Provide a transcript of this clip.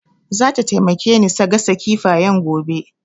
Zata taimake ni sa gasa kifayen gobe